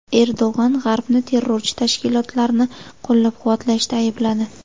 Erdo‘g‘on G‘arbni terrorchi tashkilotlarni qo‘llab-quvvatlashda aybladi.